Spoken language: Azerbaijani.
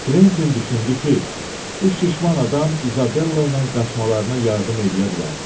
Kventin düşündü ki, bu şişman adam İzabella ilə qaçmalarına yardım eləyə bilər.